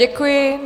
Děkuji.